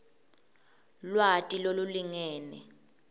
lwati lolulingene